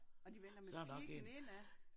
Og de vender med piggen indad